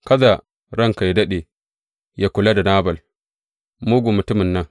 Kada ranka yă daɗe, yă kula da Nabal, mugun mutumin nan.